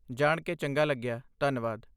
ਜਾਣ ਕੇ ਚੰਗਾ ਲੱਗਿਆ, ਧੰਨਵਾਦ।